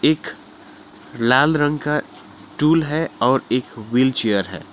एक लाल रंग का स्टूल है और एक व्हीलचेयर है।